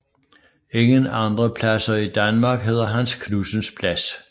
Ingen andre pladser i Danmark hedder Hans Knudsens Plads